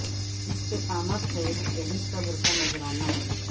استقامت ھے یہی صبر کا نذرانہ ھے